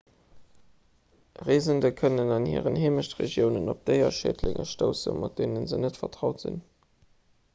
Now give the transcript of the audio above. reesende kënnen an hiren heemechtregiounen op déierschädlinge stoussen mat deene se net vertraut sinn